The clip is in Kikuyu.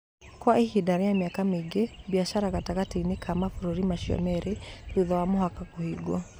Kwa ihinda rĩa mĩaka mĩingĩ, biacara gatagatĩ-inĩ ka mabũrũri macio merĩ thutha wa mũhaka kũhingwo.